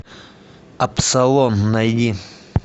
абсолон найди